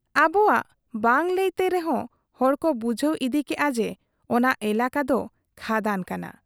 ᱟᱵᱚᱣᱟᱜ ᱵᱟᱝ ᱞᱟᱹᱭᱛᱮ ᱨᱮᱦᱚᱸ ᱦᱚᱲ ᱠᱚ ᱵᱩᱡᱷᱟᱹᱣ ᱤᱫᱤ ᱠᱮᱜ ᱟ ᱡᱮ, ᱚᱱᱟ ᱮᱞᱟᱠᱟ ᱫᱚ ᱠᱷᱟᱫᱟᱱ ᱠᱟᱱᱟ ᱾